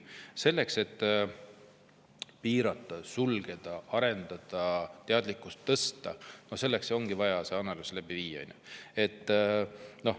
Selleks et piirata, sulgeda, arendada, teadlikkust tõsta, ongi vaja see analüüs läbi viia.